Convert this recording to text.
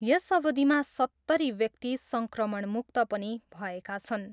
यस अवधिमा सत्तरी व्यक्ति सङ्क्रमणमुक्त पनि भएका छन्।